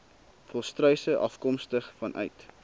volstruise afkomstig vanuit